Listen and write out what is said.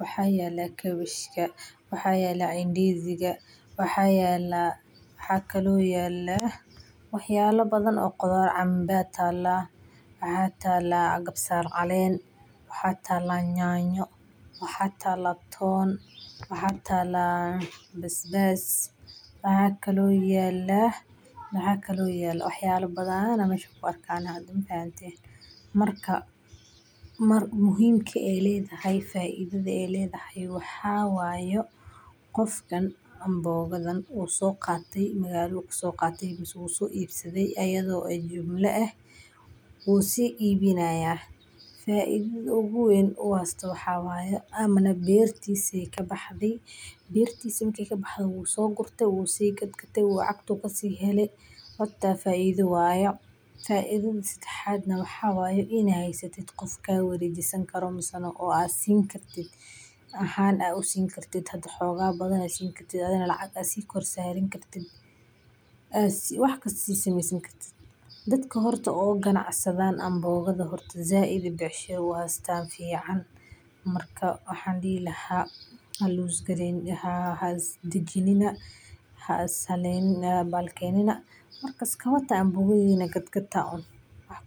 waxa yala kawashka, waxa yala ndiziga , waxa yala waxa kalo yala wax yala kale oo badan, canba tala ,maxa tala kabsar calen ,maxa tala yanyo, maxa tala toon ,maxa tala basbas waxa kalo yala, wax yala badan aa mesha ku arka mafahante, marka muhimka ay ledahay faidada ay ledahay waxa wayo qof dhan an bogadan wuu so qate magaladu kaso qate mise wuxu soo ibsaday ayado jimlo eh ,wuu sii ibinaya. Faidada ugu weyn u heysto waxa waye iney bertisa kabaxde, bertisa markey kabaxde wuu so gurte wuu so ibinaya wuu si gadgatay lacagtu kasi heley tas faido waye. Faiddada sedexaad waxa waye inaad heysatid qof ka warejini karo mise aad sini kartid ahan aad usini kartid oo lacagta aad si kor saraneysid oo wax kasta aad si sumeysani kartid ,dadka horta oo ganacsadan canbogada said ayey u hestan becsharo fican ,marka waxan dihi laha laisdakinina ,haiskahalenina marka canbogadina gadgata uun.